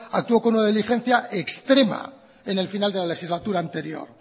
actuó con una diligencia extrema en el final de la legislatura anterior